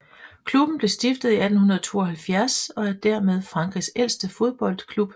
Klubben blev stiftet i 1872 og er dermed Frankrigs ældste fodboldklub